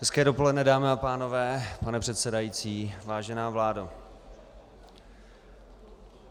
Hezké dopoledne, dámy a pánové, pane předsedající, vážená vládo.